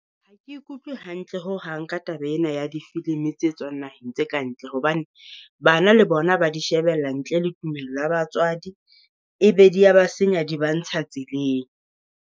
Ha ke ikutlwe hantle ho hang ka taba ena ya di filimi tse tswang naheng tse ka ntle hobane, bana le bona ba di shebella ntle le tumello ya batswadi. E be di ya ba senya, di ba ntsha tseleng.